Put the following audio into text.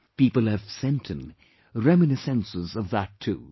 people have sent in reminiscences of that too